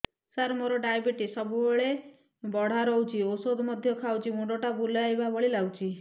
ସାର ମୋର ଡାଏବେଟିସ ସବୁବେଳ ବଢ଼ା ରହୁଛି ଔଷଧ ମଧ୍ୟ ଖାଉଛି ମୁଣ୍ଡ ଟା ବୁଲାଇବା ଭଳି ଲାଗୁଛି